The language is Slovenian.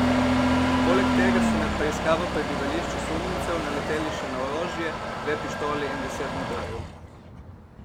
Poleg tega so med preiskavo prebivališč osumljencev naleteli še na orožje, dve pištoli in deset nabojev.